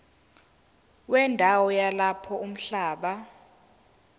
wendawo yalapho umhlaba